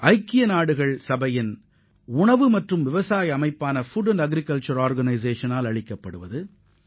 ஐநாவின் உணவு மற்றும் வேளாண் அமைப்பு இந்த விருதை வழங்கியுள்ளது